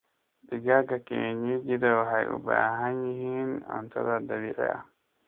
Digaaga kienyejidha waxay u baahan yihiin cunto dabiici ah.